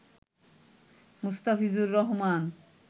Mustafizur Rahman